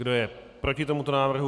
Kdo je proti tomuto návrhu?